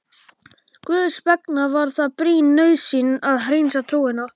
Guðs vegna var það brýn nauðsyn að hreinsa trúna.